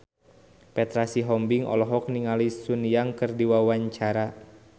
Petra Sihombing olohok ningali Sun Yang keur diwawancara